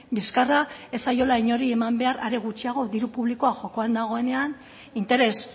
bizkarra ez zaiola inori eman behar are gutxiago diru publikoa jokoan dagoenean interes